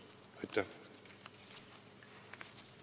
Aitäh!